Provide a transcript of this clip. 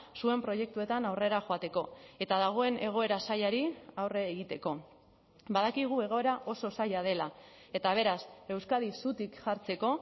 zuen proiektuetan aurrera joateko eta dagoen egoera zailari aurre egiteko badakigu egoera oso zaila dela eta beraz euskadi zutik jartzeko